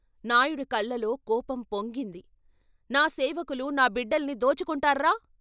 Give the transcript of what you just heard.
" నాయుడు కళ్ళలో కోపం పొంగింది. నా సేవకులు, నా బిడ్డల్ని దోచుకుంటార్రా?